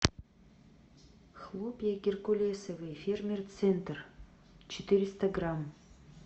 хлопья геркулесовые фермер центр четыреста грамм